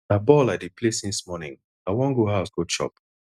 na ball i dey play since morning i wan go house go chop